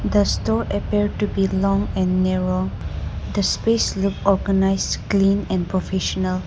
the store appear to be long and narrow the space look organised clean and professional.